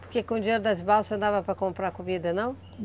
Porque com o dinheiro das balsas não dava para comprar comida, não?